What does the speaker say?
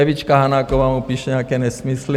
Evička Hanáková mu píše nějaké nesmysly.